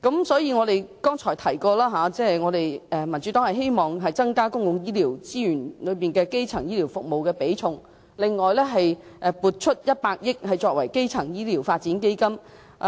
所以，我剛才提到民主黨希望增加基層醫療服務佔公共醫療資源的比重，並撥出100億元作為基層醫療發展基金。